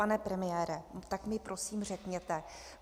Pane premiére, tak mi prosím řekněte.